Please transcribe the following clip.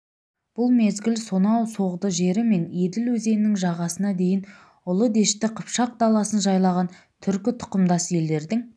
бұл мезгіл сонау соғды жері мен еділ өзенінің жағасына дейін ұлы дәшті қыпшақ даласын жайлаған түркі тұқымдас елдердің